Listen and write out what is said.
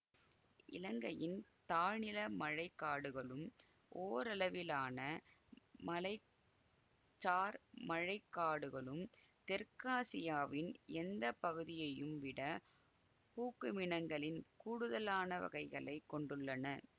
இலங்கையின் தாழ்நில மழை காடுகளும் ஓரளவிலான மலைச்சார் மழை காடுகளும் தெற்காசியாவின் எந்த பகுதியையும் விட பூக்குமினங்களின் கூடுதலான வகைகளை கொண்டுள்ளன